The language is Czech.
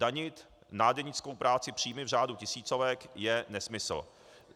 Danit nádenickou práci, příjmy v řádu tisícovek, je nesmysl.